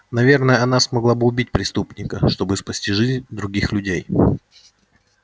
наверное она смогла бы убить преступника чтобы спасти жизнь других людей